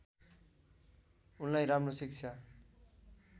उनलाई राम्रो शिक्षा